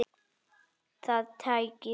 Það tækist ekki í dag.